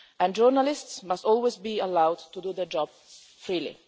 Journalists must always be allowed to do their job freely.